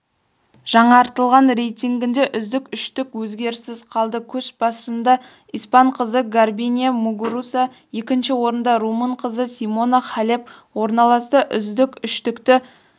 жаңартылған рейтингінде үздік үштік өзгеріссіз қалды көш басында испан қызы гарбинье мугуруса екінші орында румын қызы симона халеп орналасса үздік үштікті